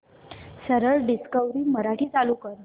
सरळ डिस्कवरी मराठी चालू कर